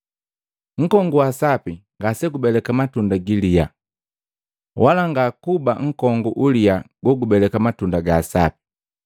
“Nkongu wa sapi ngasegubeleka matunda giliya, wala ngakuba nkongu uliya gogubeleka matunda ga sapi.